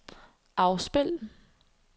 afspil